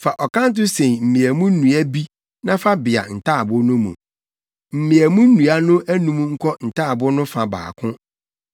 “Fa ɔkanto sen mmeamu nnua bi na fa bea ntaaboo no mu. Mmeamu nnua no anum nkɔ ntaaboo no fa baako